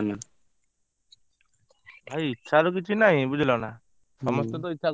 ଭାଇ ଇଚ୍ଛାର କିଛି ନାହି ବୁଝିଲନା ସମସ୍ତେତ ହୁଁ ଇଚ୍ଛା କରୁଛନ୍ତି ସେଇଭଳିଆ ପଇସା ଦରକାର ନା ଯିବା ପାଇଁ?